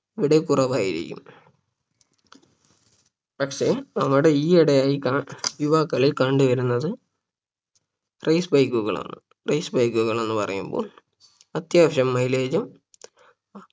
ഇവിടെ കുറവായിരിക്കും പക്ഷെ നമ്മുടെ ഈ ഇടയായ കാ യുവാക്കളിൽ കണ്ട് വരുന്നത് Race bike കളാണ് race bike കൾ എന്ന് പറയുമ്പോൾ അത്യാവശ്യം Mileage ഉം